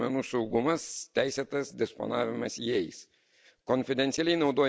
Svarbi problema yra asmens duomenų saugumas, teisėtas disponavimas jais.